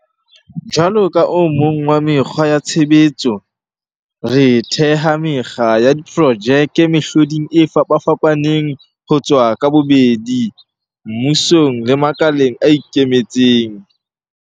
Jwalo ka o mong wa mekgwa ya tshebetso, re theha mekga ya diprojeke mehloding e fapafapaneng ho tswa ka bobedi, mmusong le makaleng a ikemetseng.